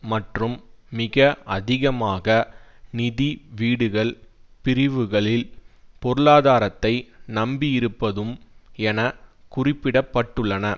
மற்றும் மிக அதிகமாக நிதி வீடுகள் பிரிவுகளில் பொருளாதாரத்தை நம்பியிருப்பதும் என குறிப்பிட பட்டுள்ளன